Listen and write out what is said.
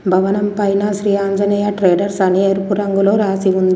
భవనం పైన శ్రీ ఆంజనేయ ట్రేడర్స్ అని ఎరుపు రంగులో రాసి ఉం --